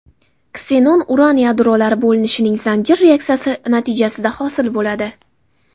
Ksenon uran yadrolari bo‘linishining zanjir reaksiyasi natijasida hosil bo‘ladi.